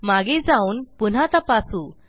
मागे जाऊन पुन्हा तपासू